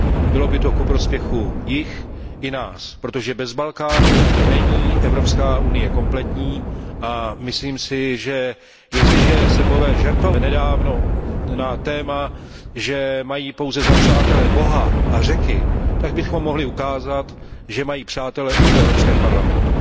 Bylo by to ku prospěchu jich i nás, protože bez Balkánu není Evropská unie kompletní, a myslím si, že jestliže Srbové nedávno žertovali na téma, že mají za přátele pouze Boha a Řeky, tak bychom jim mohli ukázat, že mají přátele i v Evropském parlamentu.